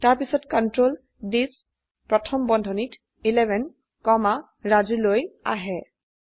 তাৰপিছত কন্ট্ৰোল থিচ প্ৰথম বন্ধনীত 11 কমা ৰাজু লৈ আহে